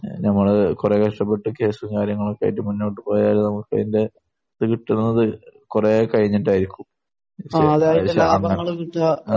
നമ്മൾ കുറെ കഷ്ടപ്പെട്ട് ക്യാഷും കാര്യങ്ങളും ഒക്കെയായിട്ട് മുന്നോട്ട് പോയാൽ നമുക്ക് അതിന്റെ പിന്നെ കിട്ടുന്നത് കുറെ കഴിഞ്ഞിട്ടായിരിക്കും. ആഹ്.